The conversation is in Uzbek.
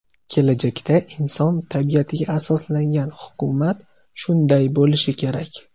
Kelajakda inson tabiatiga asoslangan hukumat shunday bo‘lishi kerak.